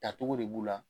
Tacogo de b'u la